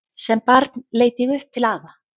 Sem barn leit ég upp til afa.